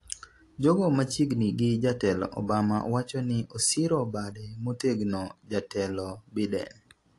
jogo machiegni gi jatelo Obama wacho ni osiro bade motegno jatelo Biden